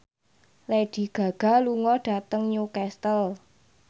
Lady Gaga lunga dhateng Newcastle